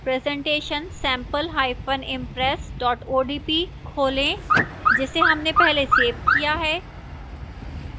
presentation sampleimpress odp खोलें जिसे हमने पहले सेव किया है